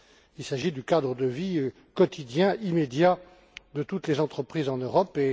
Il s'agit du cadre de vie quotidien, immédiat, de toutes les entreprises en Europe.